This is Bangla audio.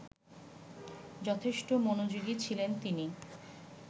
যথেষ্ট মনোযোগী ছিলেন তিনি